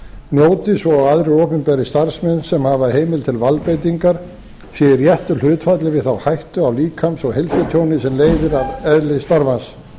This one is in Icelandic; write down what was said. njóti svo og aðrir opinberir starfsmenn sem hafa heimild til valdbeitingar séu í réttu hlutfalli við þá hættu á líkams og heilsutjóni sem leiðir af eðli starfans